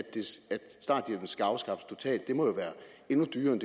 starthjælpen skal afskaffes totalt det må jo være endnu dyrere end